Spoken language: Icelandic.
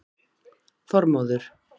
Þormóður